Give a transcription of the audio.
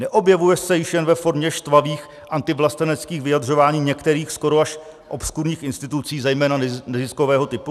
Neobjevuje se již jen ve formě štvavých antivlasteneckých vyjadřování některých skoro až obskurních institucí, zejména neziskového typu?